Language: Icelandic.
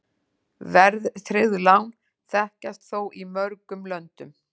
Verðtryggð lán þekkjast þó í mörgum löndum.